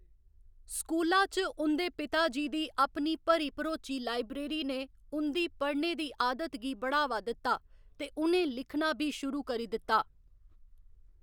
स्कूला च ते उं'दे पिता जी दी अपनी भरी भरोची लायब्रेरी ने उं'दी पढ़ने दी आदत गी बढ़ावा दित्ता, ते उ'नें लिखना बी शुरू करी दित्ता।